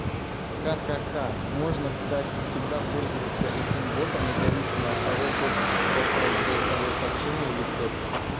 ха ха ха можно кстати всегда пользоваться этим ботом независимо от того хочешь ли ты отправить голосовое сообщение или текст